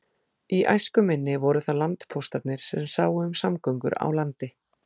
Í æsku minni voru það landpóstarnir sem sáu um samgöngur á landi.